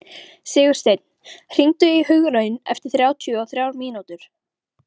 Sigursteinn, hringdu í Hugraun eftir þrjátíu og þrjár mínútur.